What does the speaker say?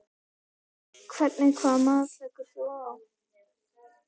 Hvernig hvaða mat leggur þú á það?